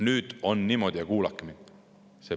Nüüd on niimoodi, kuulake mind.